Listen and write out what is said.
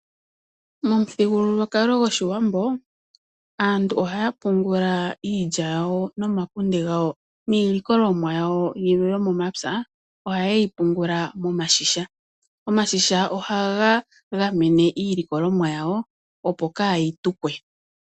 Momuthigululwakalo gwoshiwambo aantu ohaya pungula iilya yawo noomakunde gawo niilikolomwa yawo yilwe yomomapya ohayeyi pungula momashisha. Omashisha ohaga gamene iilikolomwa yawo opo kayi tukwe.